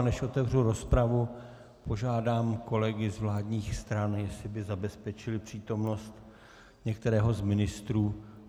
A než otevřu rozpravu, požádám kolegy z vládních stran, jestli by zabezpečili přítomnost některého z ministrů.